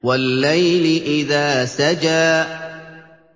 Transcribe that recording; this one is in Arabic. وَاللَّيْلِ إِذَا سَجَىٰ